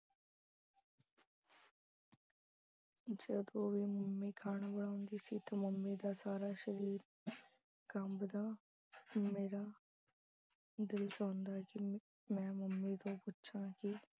ਜਦੋਂ ਵੀ mummy ਖਾਣਾ ਬਣਾਉਂਦੀ ਸੀ ਤਾਂ mummy ਦਾ ਸਾਰਾ ਸਰੀਰ ਕੰਬਦਾ, ਮੇਰਾ ਦਿਲ ਚਾਹੁੰਦਾ ਕਿ ਮ ਅਹ ਮੈਂ mummy ਤੋਂ ਪੁੱਛਾ ਕਿ